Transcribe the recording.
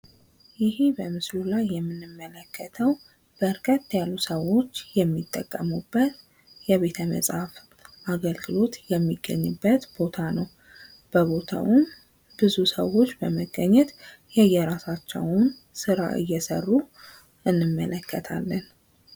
ይሄ በምስሉ ላይ የምንመለከተዉ በረከት ያሉ ሰዎች የሚጠቀሙበት የቤተ-መፅሐፍት አገልግሎቶ የሚገኝበት ቦታ ነዉ። በቦታዉም ብዙ ሰዎች በመገኘት የየራሳቸዉን ስራዎች እየሰሩ እንመለከታለን።